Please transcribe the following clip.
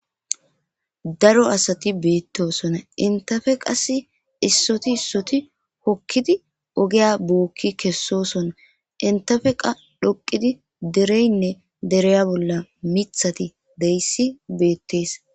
daro asati beettosonna intafe qas issoti issoti hokkidi ogeya bookki kessoson intafe qa dhoqidi dereynne dereya bolla mithati deyssi beettees